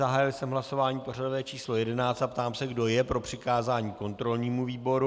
Zahájil jsem hlasování pořadové číslo 11 a ptám se, kdo je pro přikázání kontrolnímu výboru.